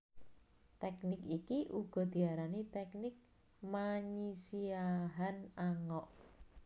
Teknik iki uga diarani teknik manyisiahan angok